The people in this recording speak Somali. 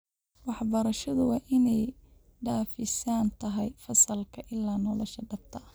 Waxbarashadu waa in ay dhaafsiisan tahay fasalka ilaa nolosha dhabta ah.